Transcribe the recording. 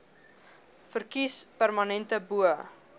verkies permanente bo